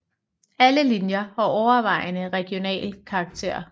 Alle linjer har overvejende regional karakter